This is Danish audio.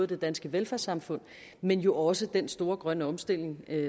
det danske velfærdssamfund men jo også den store grønne omstilling